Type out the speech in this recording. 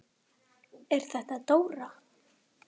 Elísabet Hall: Er þetta dóra?